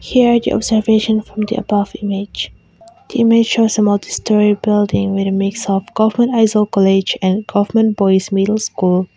here the observation from the above image the image shows a multistorey building with a mix of government aizawl college and goverment boys middle school.